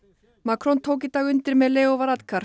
Macron tók í dag undir með Leo